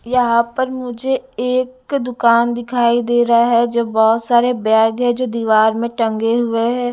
यहां पर मुझे एक दुकान दिखाई दे रहा है जो बहोत सारे बैग है जो दीवार में टंगे हुए हैं।